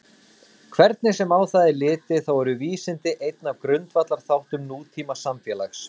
hvernig sem á það er litið þá eru vísindi einn af grundvallarþáttum nútímasamfélags